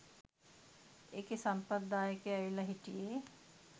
ඒකෙ සම්පත් දායකය ඇවිල්ල හිටියෙ